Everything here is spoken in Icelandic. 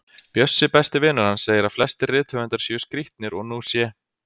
Bjössi, besti vinur hans, segir að flestir rithöfundar séu skrítnir og nú sé